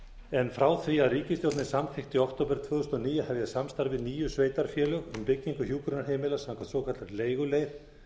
en frá því að ríkisstjórnin samþykkti í október tvö þúsund og níu að hefja samstarf við níu sveitarfélög um byggingu hjúkrunarheimila samkvæmt svokallaðri leiguleið